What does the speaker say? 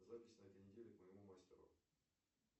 запись на этой неделе к моему мастеру